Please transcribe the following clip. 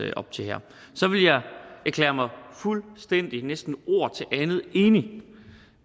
op til her så vil jeg erklære mig fuldstændig og næsten ord til andet enig